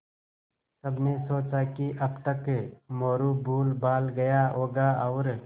सबने सोचा कि अब तक मोरू भूलभाल गया होगा और